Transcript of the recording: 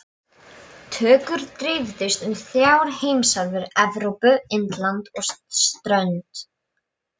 Tökur dreifðust um þrjár heimsálfur- Evrópu, Indland og strönd